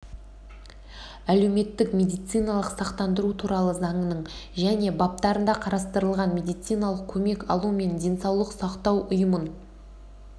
әлеуметтік медициналық сақтандыру туралы заңының және баптарында қарастырылған медициналық көмек алу мен денсаулық сақтау ұйымын